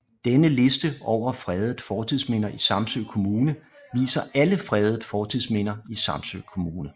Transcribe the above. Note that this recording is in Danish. Denne liste over fredede fortidsminder i Samsø Kommune viser alle fredede fortidsminder i Samsø Kommune